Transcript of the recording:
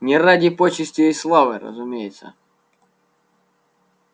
не ради почестей и славы разумеется